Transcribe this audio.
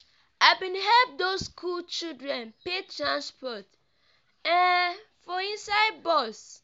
i bin help those skool children pay transport um for inside bus.